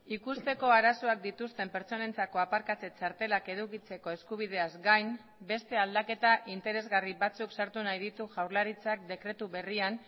ikusteko arazoak dituzten pertsonentzako aparkatze txartelak edukitzeko eskubideaz gain beste aldaketa interesgarri batzuk sartu nahi ditu jaurlaritzak dekretu berrian